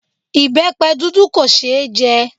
Ìbẹpẹ dúdú kò ṣe é jẹ